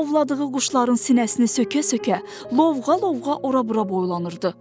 Ovladığı quşların sinəsini sökə-sökə, lovğa-lovğa ora-bura boylanırdı.